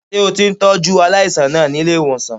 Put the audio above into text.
Ṣé o ti ń tọ́jú aláàìsàn náà ní ilé-ìwòsàn?